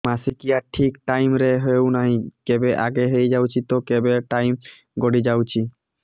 ମାସିକିଆ ଠିକ ଟାଇମ ରେ ହେଉନାହଁ କେବେ ଆଗେ ହେଇଯାଉଛି ତ କେବେ ଟାଇମ ଗଡି ଯାଉଛି